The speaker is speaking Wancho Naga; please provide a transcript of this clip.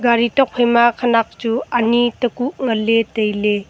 gari tokphai ma khenak chu ani tekuh nganley tailey.